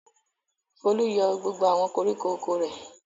Folú yọ gbogbo àwọn koríko oko rẹ̀.